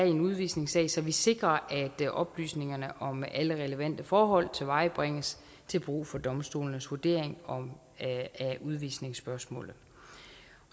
en udvisningssag så vi sikrer at oplysningerne om alle relevante forhold tilvejebringes til brug for domstolenes vurdering af udvisningsspørgsmålet